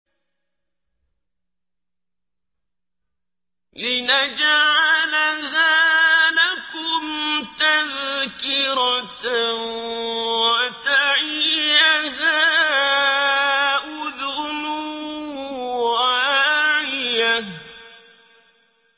لِنَجْعَلَهَا لَكُمْ تَذْكِرَةً وَتَعِيَهَا أُذُنٌ وَاعِيَةٌ